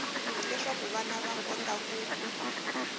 leswaku vana va kota ku